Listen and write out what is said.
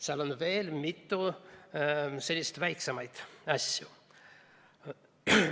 Seal on veel mitu sellist väiksemat asja.